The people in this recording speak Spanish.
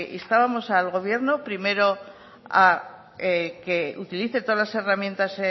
instábamos al gobierno primero a que utilice todas las herramientas